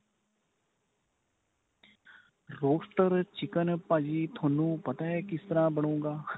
roasted chicken ਭਾਜੀ ਤੁਹਾਨੂੰ ਪਤਾ ਏ ਕਿਸ ਤਰ੍ਹਾਂ ਬਣੁਗਾ.